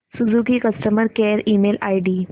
Suzuki customer care email ID